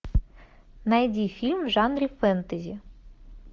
найди фильм в жанре фэнтези